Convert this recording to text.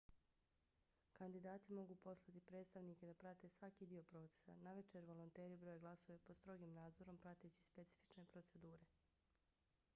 kandidati mogu poslati predstavnike da prate svaki dio procesa. navečer volonteri broje glasove pod strogim nadzorom prateći specifične procedure